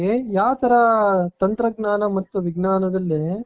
ಯಾವ ತರ ತಂತ್ರಜ್ಞಾನ ಮತ್ತು ವಿಜ್ಞಾನದಲ್ಲಿ.